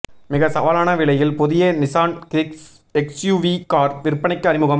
மிக சவாலான விலையில் புதிய நிஸான் கிக்ஸ் எஸ்யூவி கார் விற்பனைக்கு அறிமுகம்